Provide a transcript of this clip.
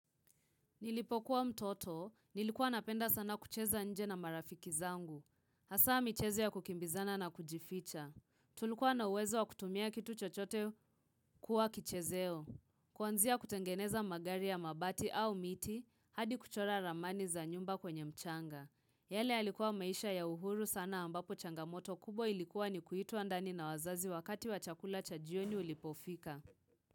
Nilipokuwa mtoto, nilikuwa napenda sana kucheza nje na marafiki zangu. Hasa michezo ya kukimbizana na kujificha. Tulikuwa na uwezo wa kutumia kitu chochote kuwa kichezeo. Kuanzia kutengeneza magari ya mabati au miti, hadi kuchora ramani za nyumba kwenye mchanga. Yale yalikuwa maisha ya uhuru sana ambapo changamoto kubwa ilikuwa ni kuitwa ndani na wazazi wakati wa chakula cha jioni ulipofika.